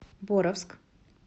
боровск